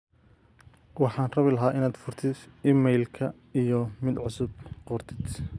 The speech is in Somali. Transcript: waxaan rabi lahaa in aad furtif iimaylka iyo mid cusub qortid